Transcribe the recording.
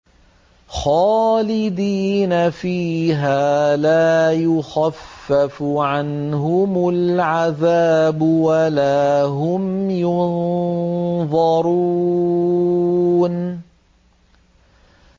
خَالِدِينَ فِيهَا ۖ لَا يُخَفَّفُ عَنْهُمُ الْعَذَابُ وَلَا هُمْ يُنظَرُونَ